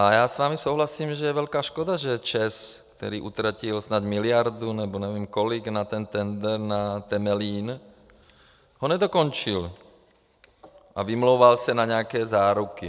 A já s vámi souhlasím, že je velké škoda, že ČEZ, který utratil snad miliardu, nebo nevím kolik, na ten tendr na Temelín, ho nedokončil a vymlouval se na nějaké záruky.